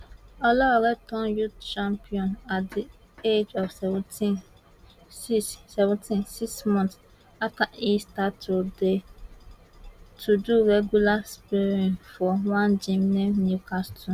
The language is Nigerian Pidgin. olaore turn youth champion at di age of seventeen six seventeen six months afta e start to dey to do regular sperrin for one gym near newcastle